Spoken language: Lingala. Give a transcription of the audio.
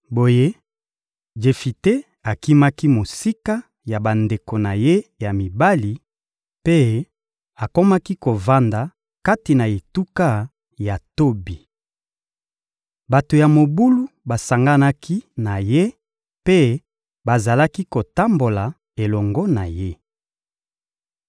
Boye, Jefite akimaki mosika ya bandeko na ye ya mibali mpe akomaki kovanda kati na etuka ya Tobi. Bato ya mobulu basanganaki na ye mpe bazalaki kotambola elongo na ye.